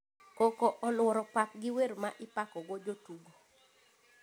Koko oluoro pap gi wer ma ipako go jotugo…